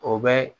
O bɛ